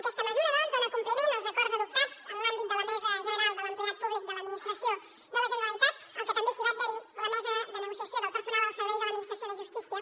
aquesta mesura doncs dona compliment als acords adoptats en l’àmbit de la mesa general de negociació de l’empleat públic de l’administració de la generalitat als que també s’hi va adherir la mesa de negociació del personal al servei de l’administració de justícia